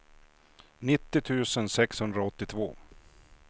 nittio tusen sexhundraåttiotvå